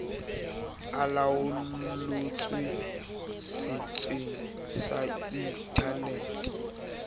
e laollotswe setsheng sa internete